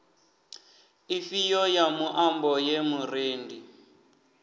ifhio ya muambo ye murendi